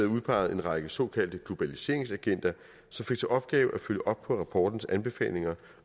udpeget en række såkaldte globaliseringsagenter som fik til opgave at følge op på rapportens anbefalinger